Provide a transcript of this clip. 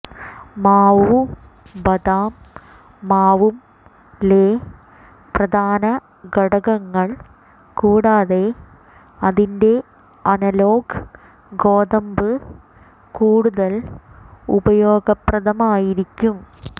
മാവു ബദാം മാവും ലെ പ്രധാന ഘടകങ്ങൾ കൂടാതെ അതിന്റെ അനലോഗ് ഗോതമ്പ് കൂടുതൽ ഉപയോഗപ്രദമായിരിക്കും